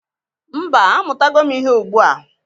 Mba, amụtago m ihe ugbu a.